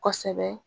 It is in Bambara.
Kosɛbɛ